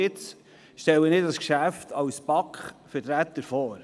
Jetzt stelle ich dieses Geschäft als BaK-Vertreter vor.